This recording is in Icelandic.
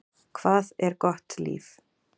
Hvað er gott líf?